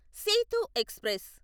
Setu express